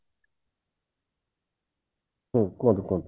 ହୁଁ କୁହନ୍ତୁ କୁହନ୍ତୁ